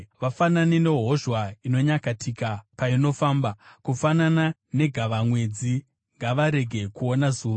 Vafanane nehozhwa inonyakatika painofamba, kufanana negavamwedzi, ngavarege kuona zuva.